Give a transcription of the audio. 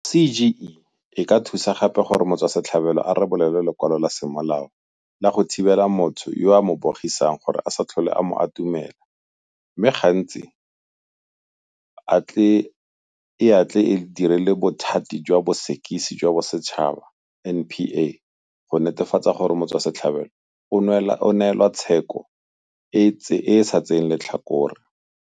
CGE e ka thusa gape gore motswasetlhabelo a rebole lwe lekwalo la semolao la go thibela motho yo a mo bogisang go se tlhole a mo atumela mme go le gantsi e a tle e direle Bothati jwa Bosekisi jwa Bosetšhaba, NPA, go netefatsa gore motswasetlhabelo o neelwa tsheko e e sa tseeng letlhakore.